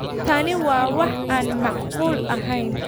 Tani waa wax aan macquul aheyn.